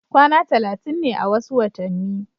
kwana talatin ne a wasu watanni